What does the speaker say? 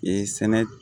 Ee sɛnɛ